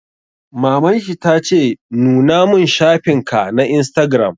Maman shi ta ce 'Nuna mun shafin ka na Instagram'!